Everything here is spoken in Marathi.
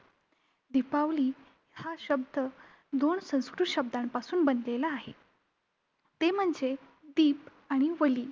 दिपावली हा शब्द दोन संस्कृत शब्दांपासून बनलेला आहे. ते म्हणजे दिप आणि वली.